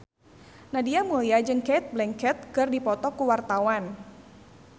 Nadia Mulya jeung Cate Blanchett keur dipoto ku wartawan